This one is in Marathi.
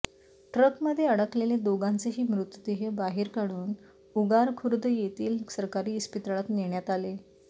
ट्रकमध्ये अडकलेले दोघांचेही मृतदेह बाहेर काढून उगार खुर्द येथील सरकारी इस्पितळात नेण्यात आले